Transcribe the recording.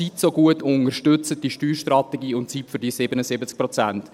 Bitte unterstützen Sie also diese Steuerstrategie und diese 77 Prozent.